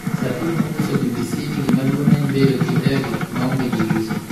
Sir Tim ne onyiso BBC ni gimaduong' en bedo gi ndege maonge dirise.